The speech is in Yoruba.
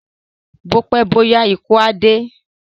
Bó pẹ́ bó yá ikú á dé